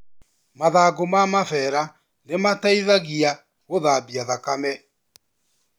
Mathangũ ma mabera nĩ mateithagia gũthambia thakame.